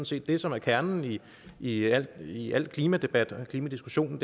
set det som er kernen i al i al klimadebat og klimadiskussion